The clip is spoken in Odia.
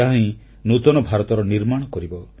ଏହାହିଁ ନୂତନ ଭାରତର ନିର୍ମାଣ କରିବ